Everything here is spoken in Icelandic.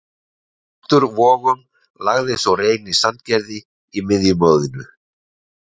Þróttur Vogum lagði svo Reyni Sandgerði í miðjumoðinu.